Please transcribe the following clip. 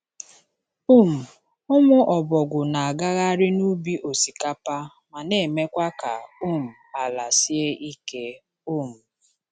um Ụmụ ọbọgwụ na-agagharị n’ubi osikapa ma na-emekwa ka um ala sie ike. um